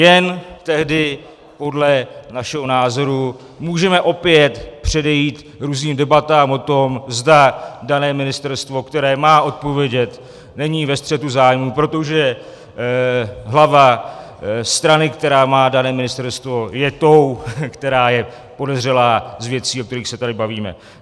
Jen tehdy podle našeho názoru můžeme opět předejít různým debatám o tom, zda dané ministerstvo, které má odpovědět, není ve střetu zájmů, protože hlava strany, která má dané ministerstvo, je tou, která je podezřelá z věcí, o kterých se tady bavíme.